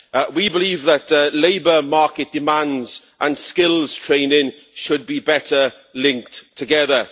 We believe that labour market demands and skills training should be better linked together.